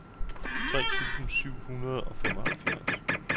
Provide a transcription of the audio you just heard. tre tusind syv hundrede og halvfems